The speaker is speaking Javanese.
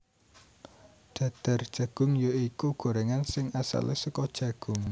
Dadar Jagung ya iku gorengan sing asale saka jagung